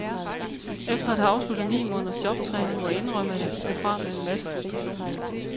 Efter at have afsluttet ni måneders jobtræning, må jeg indrømme, at jeg gik derfra med en masse frustrationer.